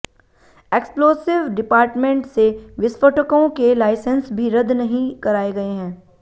explosive department से विस्फोटकों के लाइसेंस भी रद्द नहीं कराए गए हैं